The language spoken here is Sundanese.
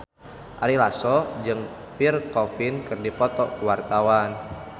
Ari Lasso jeung Pierre Coffin keur dipoto ku wartawan